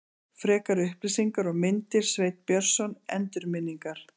Frekari upplýsingar og myndir Sveinn Björnsson, Endurminningar.